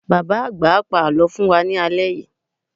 Bàbá-àgbà á pa àlọ́ fún wa ní alẹ́ yìí.